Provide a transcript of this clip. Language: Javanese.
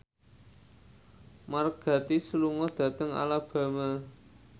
Mark Gatiss lunga dhateng Alabama